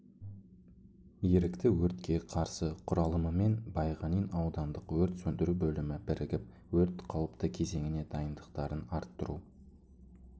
ерікті өртке қарсы құралымымен байғанин аудандық өрт сөндіру бөлімі бірігіп өрт қауіпті кезеңіне дайындықтарын арттыру